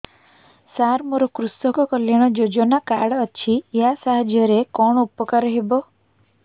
ସାର ମୋର କୃଷକ କଲ୍ୟାଣ ଯୋଜନା କାର୍ଡ ଅଛି ୟା ସାହାଯ୍ୟ ରେ କଣ ଉପକାର ହେବ